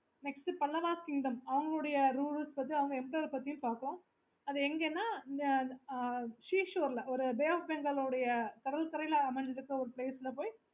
next pallavas kingdom அவங்க rule பத்தியும் அவங்க empire பத்தியும் பாப்போம் அது எங்கண்ணா sea shore ல ஒரு bay of bengal உடைய கடற்கரை ல அமைந்திருக்குற ஒரு place ல போய்